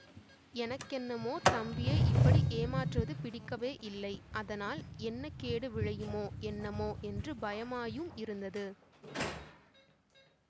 எனக்கென்னமோ தம்பியை இப்படி ஏமாற்றுவது பிடிக்கவேயில்லை அதனால் என்ன கேடு விளையுமோ என்னமோ என்று பயமாயுமிருந்தது